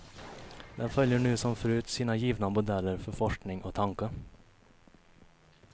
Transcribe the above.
Den följer nu som förut sina givna modeller för forskning och tanke.